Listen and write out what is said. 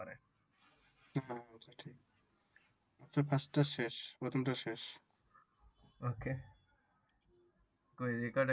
okay